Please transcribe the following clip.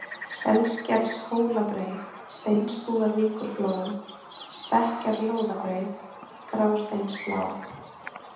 Selskershólabreið, Steinsbúðarvíkurflói, Stekkjarlóðabreið, Grásteinsflá